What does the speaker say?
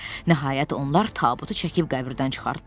Nəhayət onlar tabutu çəkib qəbirdən çıxartdılar.